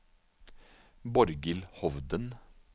Borghild Hovden